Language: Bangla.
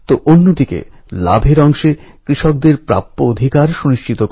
আজ আমাদের আবার বলার সময় এসেছে স্বরাজ আমাদের জন্মগত অধিকার এবং সে অধিকার অর্জন করেই ছাড়বো